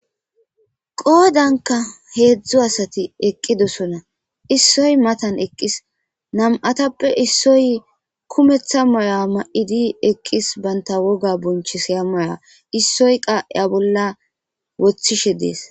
Qodankka hezdzdu asati eqida issoyikka maattan eqis nam"atappe issoy kumeththa mayo mayidi banta woga bonchisiza maydda issoy boththa waraqata woththishshe des